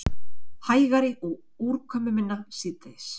Hægari og úrkomuminna síðdegis